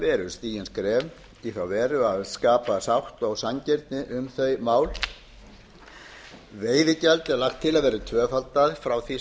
eru stigin skref í þá veru að skapa sátt og sanngirni um þau mál veðigjald er lagt til að verði tvöfaldað frá því